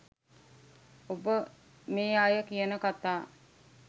ඔබ මේ අය කියන කථා